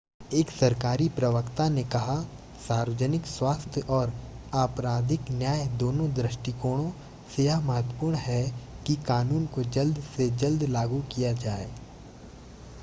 एक सरकारी प्रवक्ता ने कहा सार्वजनिक स्वास्थ्य और आपराधिक न्याय दोनों दृष्टिकोणों से यह महत्वपूर्ण है कि कानून को जल्द से जल्द लागू किया जाए